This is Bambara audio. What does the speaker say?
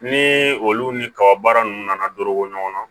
Ni olu ni kaba baara ninnu nana dɔrɔgu